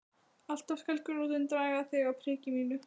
Alltaf, alltaf skal gulrótin draga þig að prikinu mínu.